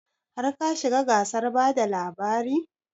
Har ka shiga gasar bada labari?